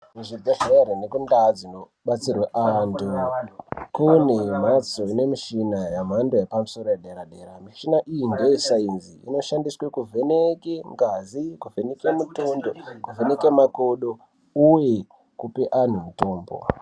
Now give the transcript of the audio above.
Kuzvibhedhlere nekuntaa dzinobatsirwa antu, kune mphatso ine mishina yemhando yepamusoro yedera-dera. Mishina iyi ngeyesainzi. Inoshandiswe kuvheneke ngazi, kuvheneke mutundo nekuvheneke makodo ,uye kupe antu mitombo.